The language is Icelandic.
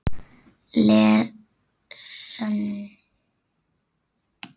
Frekara lesefni og myndir